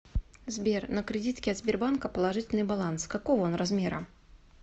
сбер на кредитке от сбербанка положительный баланс какого он размера